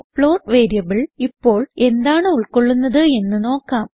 float variable ഇപ്പോൾ എന്താണ് ഉൾകൊള്ളുന്നത് എന്ന് നോക്കാം